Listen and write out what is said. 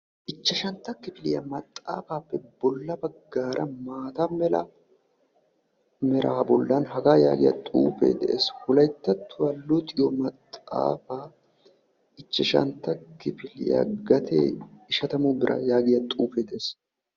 Ichchashantta kifiliya maxaafaapee bolla baggaara maataa meeraa bollan haga yagiya xuufe de'ees. Wolayttattuwa luxiyo maxaafaa ichchashantta kifiliya gatee ishatamu biira yaagiya xuufe de'ees.